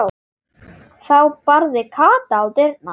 Þá barði Kata á dyrnar.